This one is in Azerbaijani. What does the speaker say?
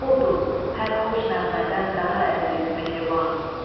Odur, hər xoş nəğmədən daha əziz, mehriban.